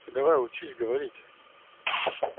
ты давай учись говорить